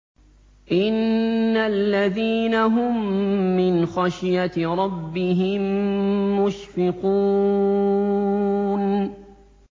إِنَّ الَّذِينَ هُم مِّنْ خَشْيَةِ رَبِّهِم مُّشْفِقُونَ